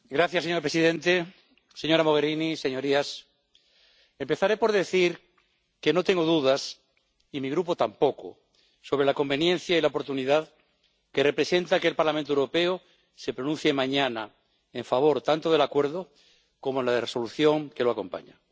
Señor presidente, señora Mogherini, señorías, empezaré por decir que no tengo dudas, y mi Grupo tampoco, sobre la conveniencia y la oportunidad que representa que el Parlamento Europeo se pronuncie mañana en favor tanto del Acuerdo como de la Resolución que lo acompaña.